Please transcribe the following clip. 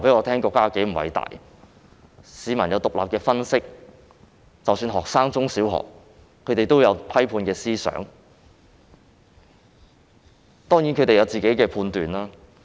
他們有獨立分析，即使中小學生也有批判性思想及獨立的判斷。